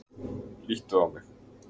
Líttu á mig.